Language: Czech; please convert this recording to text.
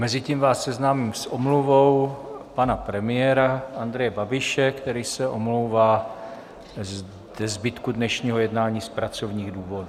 Mezitím vás seznámím s omluvou pana premiéra Andreje Babiše, který se omlouvá ze zbytku dnešního jednání z pracovních důvodů.